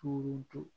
Tumu dun